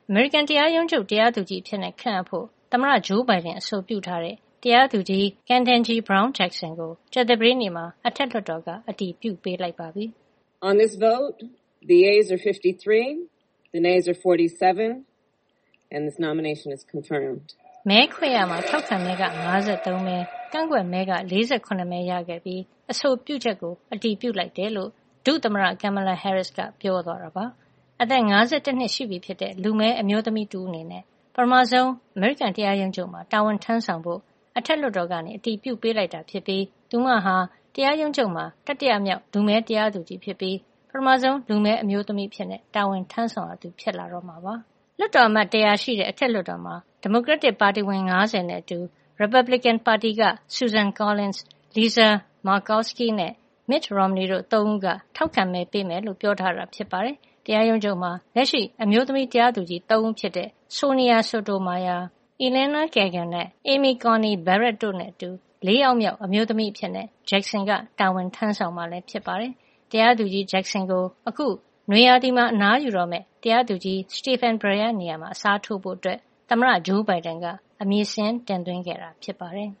အမေရိကန်တရားရုံးချုပ် တရားသူကြီးအဖြစ်ခန့်အပ်ဖို့ သမ္မတဂျိုးဘိုင်ဒန်အဆိုပြုထားတဲ့ တရားသူကြီး Ketanji Brown Jackson ကို ကြာသပတေးနေ့မှာ အထက်လွှတ်တော်က အတည်ပြုပေးလိုက်ပါပြီ။ မဲခွဲရာမှာ ထောက်ခံမဲက ၅၃ မဲ၊ ကန့်ကွက်မဲက ၄၇ မဲရခဲ့ ပြီး အဆိုပြုချက်ကို အတည်ပြုလိုက်တယ် လို့ ဒုသမ္မတ Kamala Harris က ပြောသွားတာပါ။ အသက် ၅၁ နှစ်ရှိပြီဖြစ်တဲ့ လူမည်းအမျိုးသမီးတဦးအနေနဲ့ ပထမဆုံး အမေရိကန်တရားရုံးချုပ်မှာ တာဝန်ထမ်းဆောင်ဖို့ အထက်လွှတ်တော်က အတည်ပြုပေးလိုက်တာ ဖြစ်ပြီး သူမဟာ တရားရုံးချုပ်မှာ တတိယမြောက် လူမည်းတရားသူကြီးဖြစ်ပြီး ပထမဆုံးလူမည်း အမျိုးသမီးအဖြစ် တာဝန်ထမ်းဆောင်ရသူ ဖြစ်လာတော့မှာပါ။ လွှတ်တော်အမတ် ၁၀၀ ရှိတဲ့ အထက်လွှတ်တော်မှာ ဒီမိုကရက်တစ်ပါတီဝင် ၅၀ နဲ့ အတူ ရီပတ်ဘလစ်ကင်ပါတီက Susan Collins ၊ Lisa Murkowski နဲ့ Mitt Romney တို့ ၃ ဦးက ထောက်ခံမဲ ပေးမယ်လို့ ပြောထားတာ ဖြစ်ပါတယ်။ တရားရုံးချုပ်မှာ လက်ရှိအမျိုးသမီး တရားသူကြီး ၃ ဦးဖြစ်တဲ့ Sonia Sotomayor ၊ Elena Kagan နဲ့ Amy Coney Barrett တို့နဲ့အတူ ၄ ယောက်မြောက် အမျိုးသမီးအဖြစ် Jackson ကတာဝန်ထမ်းဆောင်မှာလည်း ဖြစ်ပါတယ်။ တရားသူကြီး Jackson ကို အခုနွေရာသီမှာ အနားယူတော့မယ် တရားသူကြီး Stephen Breyer နေရာမှာ အစားထိုးဖို့ သမ္မတ ဂျိုးဘိုင်ဒန်က အမည်စာရင်း တင်သွင်းခဲ့တာ ဖြစ်ပါတယ်